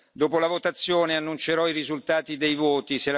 Dopo la votazione annuncerò i risultati dei voti.